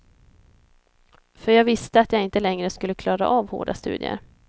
För jag visste att jag inte längre skulle klara av hårda studier.